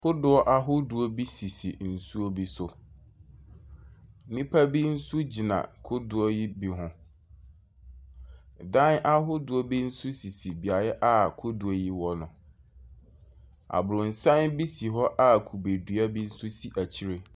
Kodoɔ bi sisi nsuo so. Nnipa bi nso gyina kodoɔ yi bi ho. Dan ahodoɔ bi nso sisi bea a kodoɔ yi wɔ no. Abrɔnsan bi si hɔ a kubedua nso si akyire.